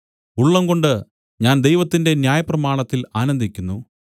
ഉള്ളംകൊണ്ട് ഞാൻ ദൈവത്തിന്റെ ന്യായപ്രമാണത്തിൽ ആനന്ദിക്കുന്നു